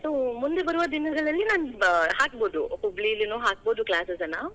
ಮುಂದೆ ಬರುವ ದಿನಗಳಲ್ಲಿ ನಾನ್ ಹಾಕ್ಬೋದು, ಹುಬ್ಳಿಲೀನು ಹಾಕ್ಬಹುದು classes ಅನ್ನಾ.